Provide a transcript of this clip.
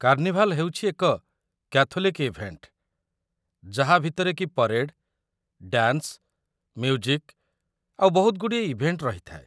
Carnival ହେଉଛି ଏକ Catholic event ଯାହା ଭିତରେକି ପରେଡ୍, ଡ୍ୟାନ୍ସ, ମ୍ୟୁଜିକ୍ ଆଉ ବହୁତଗୁଡ଼ିଏ ଇଭେଣ୍ଟ ରହିଥାଏ ।